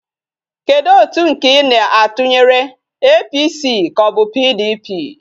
Kedu otu nke Ị na-atụnyere, APC ka ọ bụ PDP?